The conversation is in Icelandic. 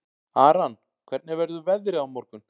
Aran, hvernig verður veðrið á morgun?